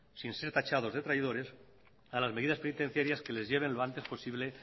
sin ser tachados de traidores a las medidas penitenciarias que les lleve lo antes posible